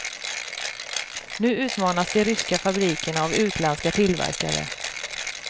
Nu utmanas de ryska fabrikerna av utländska tillverkare.